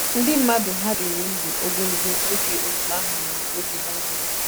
Ndị mmadụ hà dịrị ndụ ogologo oge otú ahụ n'oge Baịbụl?